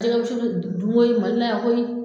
A jɛgɛwusu bɛ dun koyi Mali la yan koyi